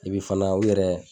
Ebi fana u yɛrɛ